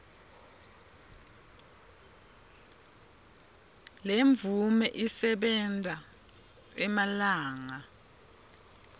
lemvume isebenta emalanga